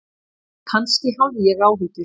Kannski hafði ég áhyggjur.